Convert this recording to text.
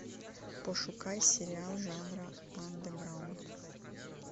пошукай сериал жанра андеграунд